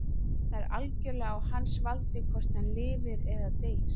Það er algjörlega á hans valdi hvort hann lifir eða deyr.